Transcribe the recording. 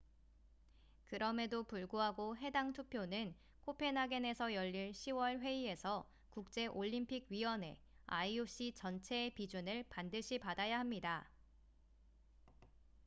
그럼에도 불구하고 해당 투표는 코펜하겐에서 열릴 10월 회의에서 국제올림픽위원회ioc 전체의 비준을 반드시 받아야 합니다